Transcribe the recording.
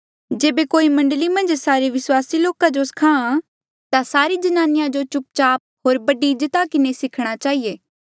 जेबे कोई मण्डली मन्झ सारे विस्वासी लोका जो सखा ता सारी ज्नानिया जो चुपचाप होर बड़ी इज्जता किन्हें सिखणा चहिए